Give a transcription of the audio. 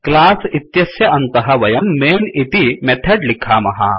class इत्यत्स्य अन्तः वयं मैन् इति मेथड लिखामः